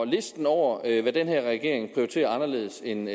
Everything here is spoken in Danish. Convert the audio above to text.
listen over hvad den her regering prioriterer anderledes end